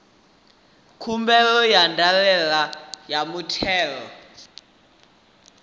khumbelo ya ndaela ya muthelo